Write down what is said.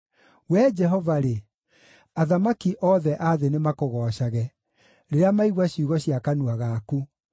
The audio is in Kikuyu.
Wee Jehova-rĩ, athamaki othe a thĩ nĩmakũgoocage, rĩrĩa maigua ciugo cia kanua gaku.